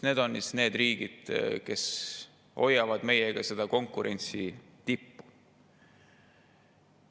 Need on need riigid, kes hoiavad meiega seda konkurentsi tippu.